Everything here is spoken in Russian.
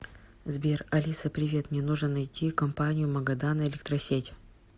сбер алиса привет мне нужно найти компанию магадан электросеть